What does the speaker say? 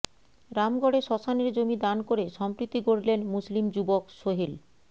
রামগড়ে শশ্মানের জমি দান করে সম্প্রীতি গড়লেন মুসলিম যুবক সোহেল